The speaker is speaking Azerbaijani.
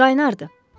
Qaynardı.